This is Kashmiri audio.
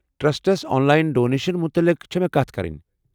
ٹرسٹس آن لاین ڈونیشن متعلق چھنہٕ کتھ کرٕنۍ۔